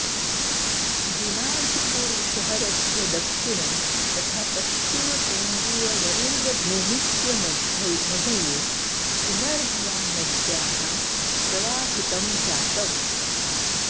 दिनाजपुर शहरस्य दक्षिणे तथा पश्चिम केन्द्रीय वरेन्द्रभूमिस्य मधये पुनर्भवा नद्याः प्रवाहितम जातम्